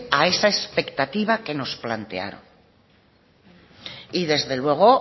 a esa expectativa que nos plantearon y desde luego